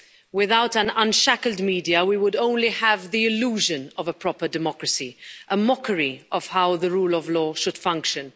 Without an unshackled media we would only have the illusion of a proper democracy, a mockery of how the rule of law should function.